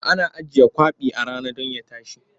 Ana ajiye kwaɓi a rana don ya tashi.